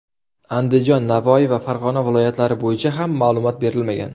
Andijon, Navoiy va Farg‘ona viloyatlari bo‘yicha ham ma’lumot berilmagan.